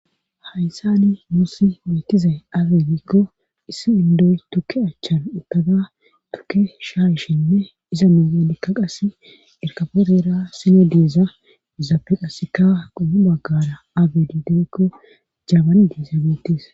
Hayssani nuussi beetizay abe gikko issi indoy tukke achchan uttada tukke shaayishinne iza miyenikka qassi erkapetora sina diiza izaape qasikka qommo baggara abe di giikko jabani diza beettes.